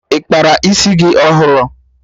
Ị kpara isi gị ọhụrụ?